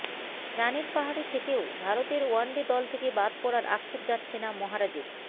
রানের পাহাড়ে থেকেও ভারতের ওয়ান ডে দল থেকে বাদ পড়ার আক্ষেপ যাচ্ছে না মহারাজের